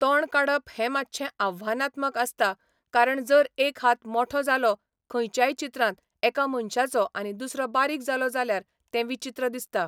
तोंड काडप हें मातशें आव्हानात्मक आसता कारण जर एक हात मोठो जालो खंयच्याय चित्रांत एका मनशाचो आनी दुसरो बारीक जालो जाल्यार तें विचित्र दिसता.